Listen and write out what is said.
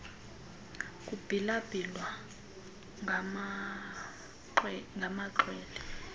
kubhila bhilwa ngamaxhwele